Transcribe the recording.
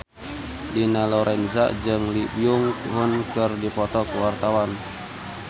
Dina Lorenza jeung Lee Byung Hun keur dipoto ku wartawan